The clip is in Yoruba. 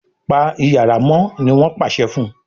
Pa iyàrá mọ !ní wón pàṣẹ fún